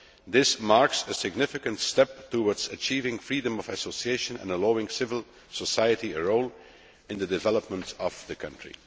This marks a significant step towards achieving freedom of association and allowing civil society a role in the development of the country.